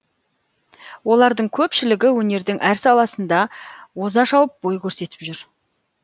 олардың көпшілігі өнердің әр саласында оза шауып бой көрсетіп жүр